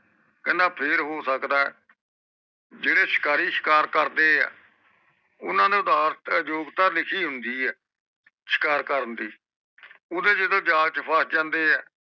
ਕਹਿੰਦਾ ਫੇਰ ਹੋ ਸਕਦਾ ਏ ਜੇਰੇ ਸ਼ਿਕਾਰੀ ਸ਼ਿਕਾਰ ਕਰਦੇ ਆ ਓਹਨਾ ਨੇ ਉਦਾਰਤਾ ਯੋਗਤਾ ਲਿਖੀ ਹੁੰਦੀ ਏ ਸ਼ਿਕਾਰ ਕਰਨ ਦੀ ਓਹਦੇ ਜਿਦੋ ਜਾਲ ਚ ਫਸ ਜਾਂਦੇ ਏ